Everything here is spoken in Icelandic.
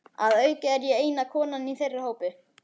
Að auki er ég eina konan í þeirra hópi.